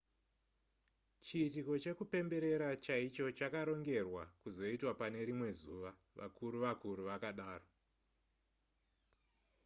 chiitiko chekupemberera chaicho chakarongerwa kuzoitwa pane rimwe zuva vakuru-vakuru vakadaro